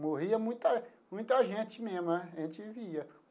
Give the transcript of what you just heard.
Morria muita muita gente mesmo, a gente via.